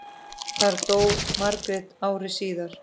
Þar dó Margrét ári síðar.